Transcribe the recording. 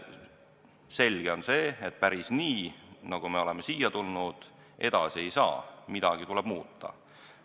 Selge on, et päris nii, nagu me oleme seni tegutsenud, edasi ei saa, midagi tuleb muuta.